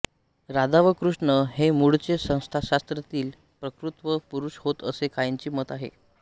राधा व कृष्ण हे मूळचे सांख्यशास्त्रातील प्रकृती व पुरुष होत असे काहींचे मत आहे